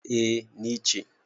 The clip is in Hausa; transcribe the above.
A ni ce